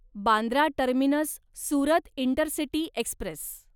Bandra terminus Surat intercity Express